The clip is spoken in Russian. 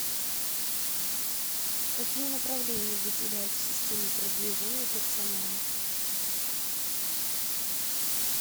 какие направления выделяют в системе продвижения персонала